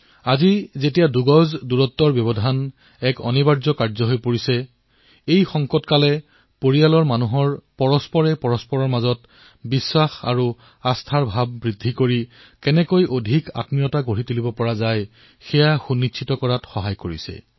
আজি দুই গজৰ দুৰত্ব অনিবাৰ্য হোৱাৰ সময়তে পৰিয়ালৰ সদস্যসমূহক ওচৰ চপাই অনাৰ ঘটনাও সংঘটিত হৈছে